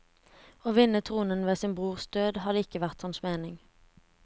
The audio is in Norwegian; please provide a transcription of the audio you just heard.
Å vinne tronen ved sin brors død hadde ikke vært hans mening.